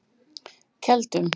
Keldum